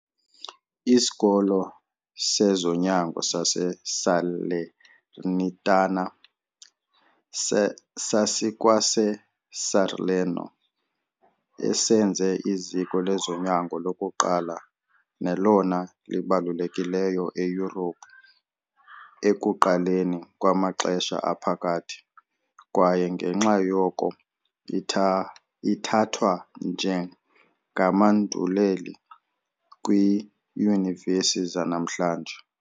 ISikolo sezoNyango sase-Salernitana sasikwase-Salerno, esenze iziko lezonyango lokuqala nelona libalulekileyo eYurophu ekuqaleni kwamaXesha Aphakathi, kwaye ngenxa yoko ithathwa njengamanduleli kwiiyunivesi zanamhlanje.